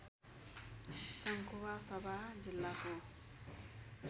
सङ्खुवासभा जिल्लाको